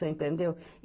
Você entendeu?